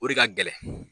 O de ka gɛlɛn